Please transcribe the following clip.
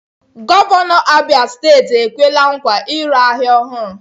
Gọvanọ Abia steeti ekwela nkwa ịrụ ahịa ọhụrụ.